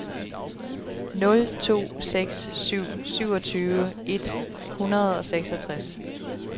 nul to seks syv syvogtyve et hundrede og seksogtres